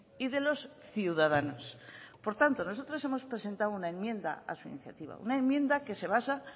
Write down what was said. y de los ciudadanos por tanto nosotros hemos presentado una enmienda a su iniciativa una enmienda que se basa